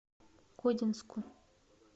кодинску